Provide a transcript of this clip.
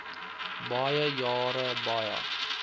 baie jare baie